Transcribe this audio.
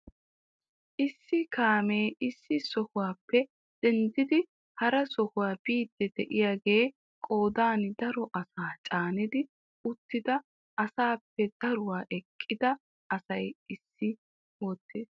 Issi kaamee issi sohuwappe denddidi hara sohuwa biidi de'iyaage qoodan daro asaa caanidi uttida asappe daruwaa eqqida asaa essi wottiis.